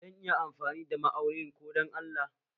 Zan iya amfani da ma aunin ka don Allah